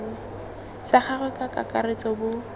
sa gagwe ka kakaretso bo